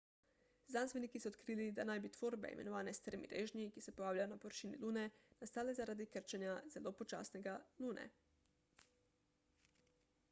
znanstveniki so odkrili da naj bi tvorbe imenovane strmi režnji ki se pojavljajo na površini lune nastale zaradi zelo počasnega krčenja lune